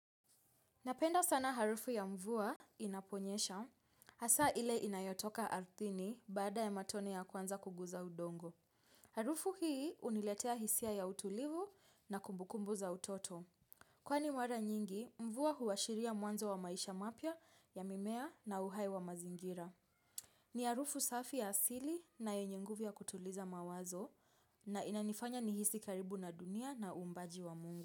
Napenda sana harufu ya mvua inaponyesha, hasa ile inayotoka ardhini baada ya matone ya kwanza kuguza udongo. Harufu hii huniletea hisia ya utulivu na kumbukumbu za utoto. Kwani mwara nyingi, mvua huashiria mwanzo wa maisha mapya ya mimea na uhai wa mazingira. Ni harufu safi ya asili na yenye nguvu ya kutuliza mawazo na inanifanya nihisi karibu na dunia na uumbaji wa mungu.